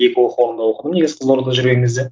екі оқу орнында оқыдым негізі қызылордада жүрген кезде